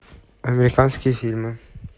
американские фильмы